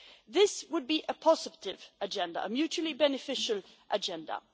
This would be a positive agenda, a mutually beneficial agenda.